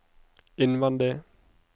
innvendig